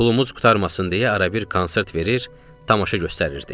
Pulmuz qurtarmasın deyə arabir konsert verir, tamaşa göstərirdik.